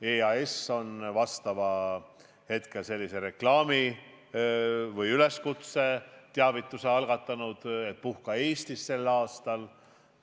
EAS on teinud reklaami või üleskutse, algatanud teavituskampaania, et puhka sel aastal Eestis.